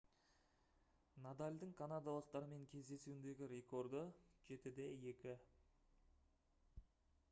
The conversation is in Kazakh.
надальдың канадалықтармен кездесуіндегі рекорды - 7-2